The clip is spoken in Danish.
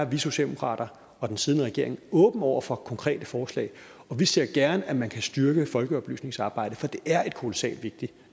vi socialdemokrater og den siddende regering åbne over for konkrete forslag og vi ser gerne at man kan styrke folkeoplysningsarbejdet for det er et kolossalt vigtigt